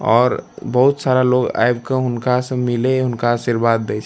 और बहुत सारा लोग आब के हुनका से मिले हुनका आशीर्वाद देए --